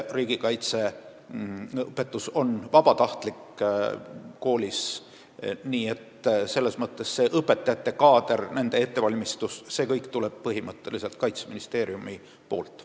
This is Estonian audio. Riigikaitseõpetus on koolis vabatahtlik, nii et õpetajate kaadri ettevalmistuse tagab põhimõtteliselt Kaitseministeerium.